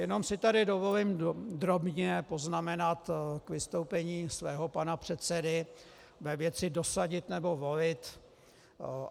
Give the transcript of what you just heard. Jenom si tady dovolím drobně poznamenat k vystoupení svého pana předsedy ve věci dosadit nebo volit.